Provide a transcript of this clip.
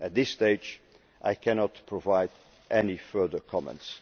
At this stage, I cannot provide any further comments.